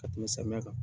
Ka tɛmɛ samiya kan